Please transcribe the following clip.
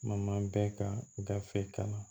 Ma bɛɛ ka gafe kama